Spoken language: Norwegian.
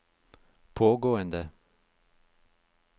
pågående